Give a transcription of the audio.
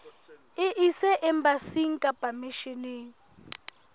e ise embasing kapa misheneng